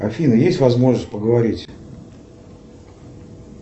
афина есть возможность поговорить